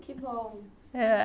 Que bom. É